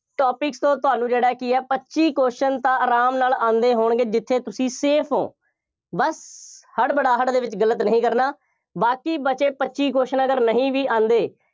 topics ਤੋਂ ਤੁਹਾਨੂੰ ਜਿਹੜਾ ਕੀ ਹੈ, ਪੱਚੀ question ਤਾਂ ਆਰਾਮ ਨਾਲ ਆਉਂਦੇ ਹੋਣਗੇ, ਜਿੱਥੇ ਤੁਸੀਂ safe ਹੋ। ਬਸ, ਹੜਬੜਾਹਟ ਦੇ ਵਿੱਚ ਗਲਤ ਨਹੀਂ ਕਰਨਾ, ਬਾਕੀ ਬਚੇ ਪੱਚੀ question ਅਗਰ ਨਹੀਂ ਵੀ ਆਉਂਦੇ।